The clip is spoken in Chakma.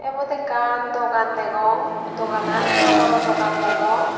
ebot ekkan dogan degong doganan haborow dogan degong.